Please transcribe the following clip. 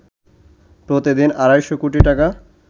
প্রতিদিন আড়াইশো কোটি টাকা